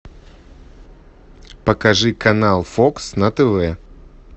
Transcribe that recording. покажи канал фокс на тв